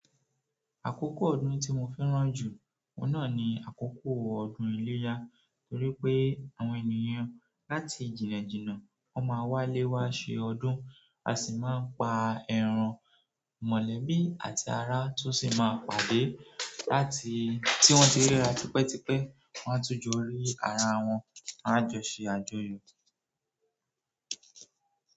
Àkókò ọdún tí mo fẹ́ràn jù, oun ná ni àkókò ọdún iléyá torí pé àwọn ènìyàn láti jìnnàjìnnà wọ́n máa wálé wa ṣe ọdún, a sì máa ń pà ẹran mọ̀lẹ́bí àti ara tun sì máa pàdé láti tí wọ́n tí ríra tipẹ́tipẹ́, wọ́n a tún jó rí ara wọn, a a jọ ṣe àjọyọ̀.